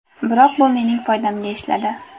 Biroq bu mening foydamga ishladi.